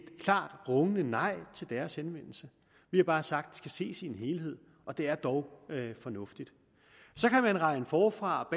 klart og rungende nej til deres henvendelse vi har bare sagt skal ses i en helhed og det er dog fornuftigt så kan man regne forfra